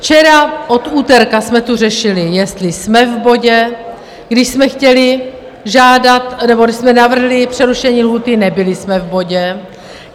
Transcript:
Včera, od úterka jsme tu řešili, jestli jsme v bodě, když jsme chtěli žádat nebo když jsme navrhli přerušení lhůty, nebyli jsme v bodě.